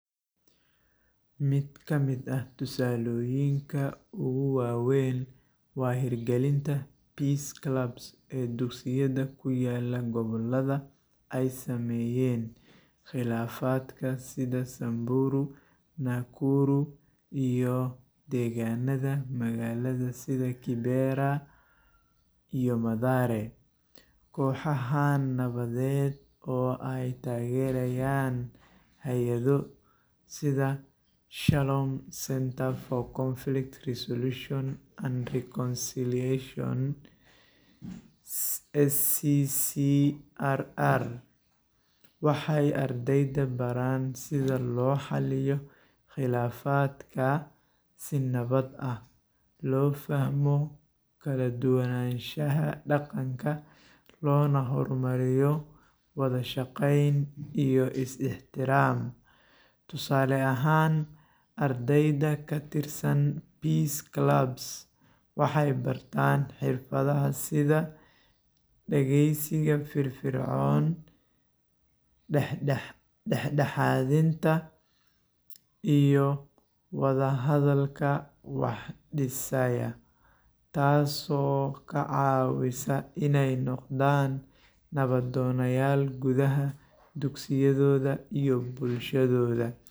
Mid kamiid ah tusaloyinka ugu wawen waa in dira galinta peace club ee dugsiyaada kuyala ee gobolada ee sameyen qilafadkasi si sanburu nakuru iyo deganaada magalaada sitha kidera iyo madhare koxahan nawaded oo ee tagerayan hadiyado sitha shalom centre for conflict resolution and reconciliation SCCRR waxee ardeyda baran sitha lobixiyo qilafaadka si nawad ah lo fahmo kala duwanashaha daqanka lona hormariyo wadha saqeyn iyo ixtiram, tusale ahan ardeyda kashaqeyneso peace club waxee bartan xirfadaha sitha dagesiga fir fircon dexdaxaadinta iyo wadha hadalka wax disayo tas oo kacawisa in ee noqdan nawad donayal gudaha dugsiyadoda iyo bulshadoda.